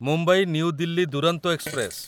Mumbai New Delhi Duronto express